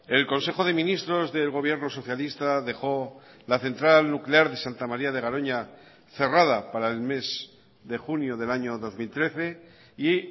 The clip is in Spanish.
el consejo de ministros del gobierno socialista dejó la central nuclear de santa maría de garoña cerrada para el mes de junio del año dos mil trece y